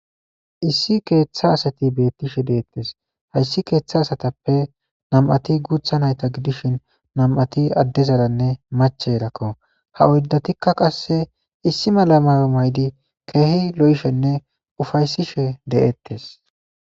Issi keeththa asati beettishe deettes hayssi keeththa asatappe nam7ati guutha nayta gidishin namati addezaranne mache erakko ha oyddatikka qasse issi mala mayo maydi keehi lo7ishenne ufaysishe de7ettes.